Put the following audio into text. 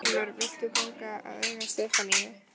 Stormur, vilt þú ganga að eiga Stefaníu?